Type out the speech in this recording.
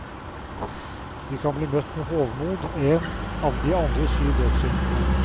Vi kan bli møtt med hovmod, en av de andre syv dødssyndene.